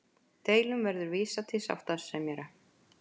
Deilum verði vísað til sáttasemjara